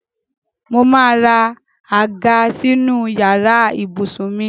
Mo máa ra àga sínú yàrá ibùsùn mi